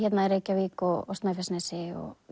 Reykjavík og Snæfellsnesi og